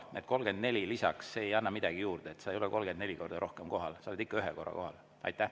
Need 34 lisaks ei anna midagi juurde – sa ei ole 34 korda rohkem kohal, sa oled ikka ühe korra kohal.